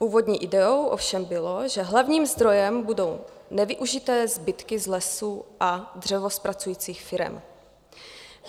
Původní ideou ovšem bylo, že hlavním zdrojem budou nevyužité zbytky z lesů a dřevozpracujících firem.